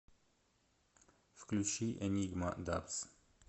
включи энигма дабз